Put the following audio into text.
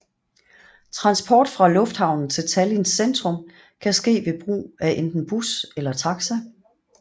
Transport fra lufthavnen til Tallinns centrum kan ske ved brug af enten bus eller taxa